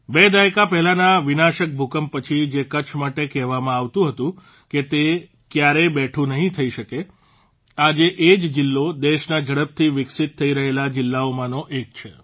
બે દાયકા પહેલાંના વિનાશક ભૂકંપ પછી જે કચ્છ માટે કહેવામાં આવતું હતું કે તે કયારેય બેઠું નહીં થઇ શકે આજે એ જ જીલ્લો દેશના ઝડપથી વિકસિત થઇ રહેલા જીલ્લામાંનો એક છે